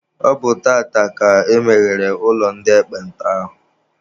Ọ bụ tata ka emeghere ụlọ ndị ekpenta ahụ.